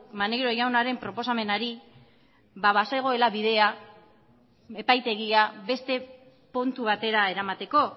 maneiro jaunaren proposamenari bazegoela bidea epaitegia beste puntu batera eramateko